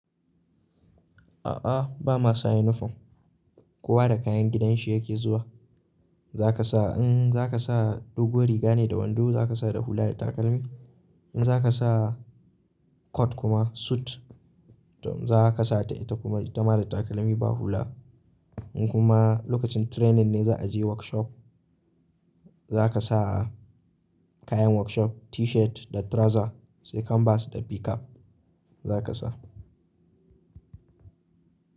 A'a bama sa uniform, kowa da kayan gidanshi yake zuwa. Za ka sa in za ka sa doguwar riga ne da wando zaka sa da hula da takalmi. In za ka sa coat kuma suit za ka sa ta ita kuma ita ma da takalmi ba hula. In kuma lokacin training ne za a je workshop za ka sa kayan workshop T-shirt da trouzer sai canvas da pickup za ka sa.